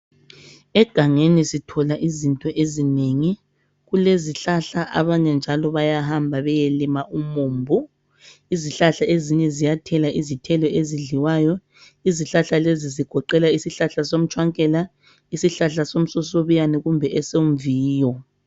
Egangeni sithola izinto ezinengi, Kulezihlahla abanye njalo bayahamba beyelima umumbu. Izihlahla ezinye ziyathela Izihlahla ezidliwayo, izihlahla lezi zigoqela isihlahla somtshwankela, isihlahla esomsosobiyane kumbe esomviyo.